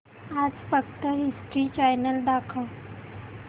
आज फक्त history channel दाखव